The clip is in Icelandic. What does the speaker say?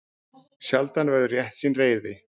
Sjaldan verður réttsýn reiði.